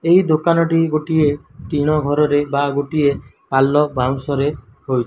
ଏହି ଦୋକାନ ଟି ଗୋଟିଏ ଟିଣ ଘର ରେ ବା ଗୋଟିଏ ପାଲ ବାଉଁଶ ରେ ହୋଇ --